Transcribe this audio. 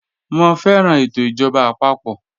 Mọ fẹran ètò ijọba àpapọ̀.